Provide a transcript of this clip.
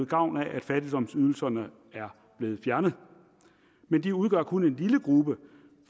gavn af at fattigdomsydelserne er blevet fjernet men de udgør kun en lille gruppe